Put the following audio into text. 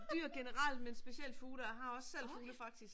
Dyr generelt men specielt fugle og jeg har også selv fugle faktisk